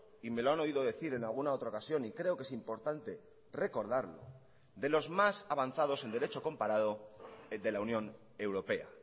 y me lo han oído decir en alguna otra ocasión y creo que es importante recordarlo de los más avanzados en derecho comparado de la unión europea